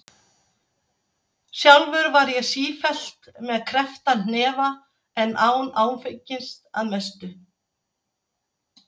Sjálfur var ég sífellt með kreppta hnefa en án áfengis- að mestu.